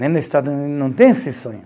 Nem no Estados não tem esse sonho.